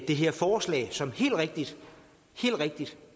det her forslag som helt rigtigt